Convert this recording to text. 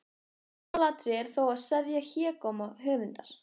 Aðalatriðið er þó að seðja hégóma höfundar.